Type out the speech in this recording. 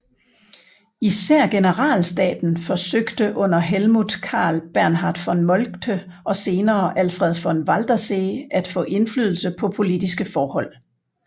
Især generalstaben forsøgte under Helmuth Karl Bernhard von Moltke og senere Alfred von Waldersee at få indflydelse på politiske forhold